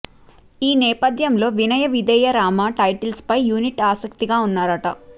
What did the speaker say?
ఈ నేపథ్యంలో వినయ విధేయ రామ టైటిల్పై యూనిట్ ఆసక్తిగా ఉన్నారట